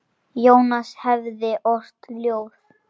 Jónas hefði ort ljóð.